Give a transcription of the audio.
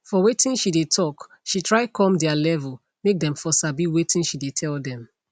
for watin she dey talk she try come their level make them for sabi watin she dey tell them